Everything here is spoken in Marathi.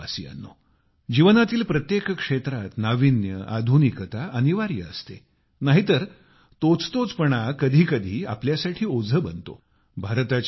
प्रिय देशवासियांनो जीवनातील प्रत्येक क्षेत्रात नावीन्य आधुनिकता अनिवार्य असते नाहीतर तोचतोचपणा कधीकधी आपल्यासाठी ओझे बनते